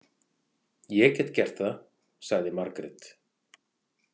Ég get gert það, sagði Margrét.